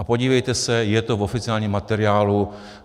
A podívejte se, je to v oficiálním materiálu.